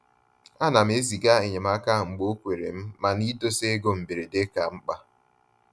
A nam eziga enyemaka mgbe okwerem mana idosa ego mberede ka mkpa